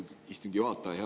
Austatud istungi juhataja!